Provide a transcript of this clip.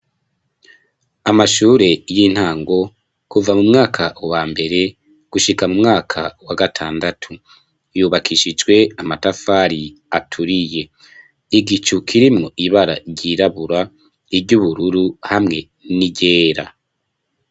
Amashure y'intango kuva mu mwaka wa mbere gushika mu mwaka wa gatandatu, yubakishijwe amatafari aturiye, igicu kirimwo ibara ryirabura, iry'ubururu hamwe n'iryera.